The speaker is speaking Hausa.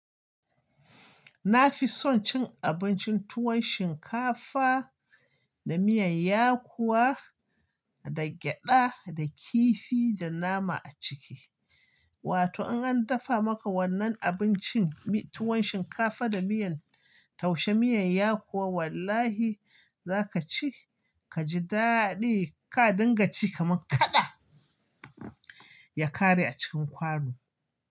Na fi son cin abincin tuwon shinkafa da miyan yakuwa da gyada da kifi da nama a ciki. Wato in an dafa maka wannan abincin tuwon shinkafa da miyan, taushe miyan yakuwa wallahi za ka ci ka ji daɗi. Ka dinga ci kaman kaɗa ya kare a cikin kwano.